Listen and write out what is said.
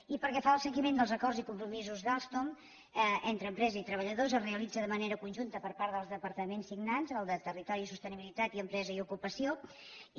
i pel que fa al seguiment dels acords i compromisos d’alstom entre empresa i treballadors es realitza de manera conjunta per part dels departaments signants el de territori i sostenibilitat i empresa i ocupació i